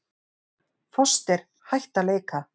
Foster hætt að leika